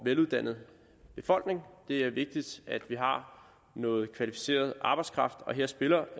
veluddannet befolkning det er vigtigt at vi har noget kvalificeret arbejdskraft og her spiller